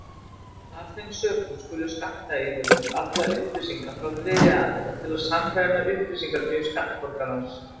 Af þeim sökum skulu skattyfirvöld afla upplýsinga frá þriðja aðila til að sannreyna upplýsingagjöf skattborgarans.